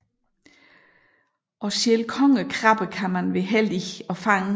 Og selv kongekrabbe kan man være heldig at fange